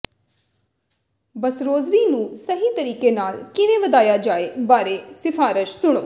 ਬਸਰੋਜ਼ਰੀ ਨੂੰ ਸਹੀ ਤਰੀਕੇ ਨਾਲ ਕਿਵੇਂ ਵਧਾਇਆ ਜਾਏ ਬਾਰੇ ਸਿਫ਼ਾਰਸ ਸੁਣੋ